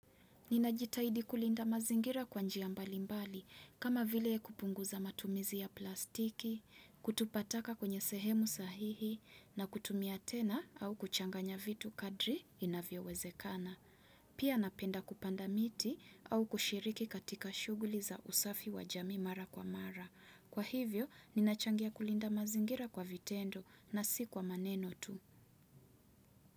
Ninajitahidi kulinda mazingira kwa njia mbalimbali, kama vile kupunguza matumizi ya plastiki, kutupa taka kwenye sehemu sahihi, na kutumia tena au kuchanganya vitu kadri inavyowezekana. Pia napenda kupanda miti au kushiriki katika shughuli za usafi wa jamii mara kwa mara. Kwa hivyo, ninachangia kulinda mazingira kwa vitendo na si kwa maneno tu.